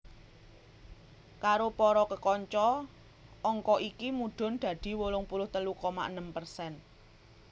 Karo para kekanca angka iki mudhun dadi wolung puluh telu koma enem persen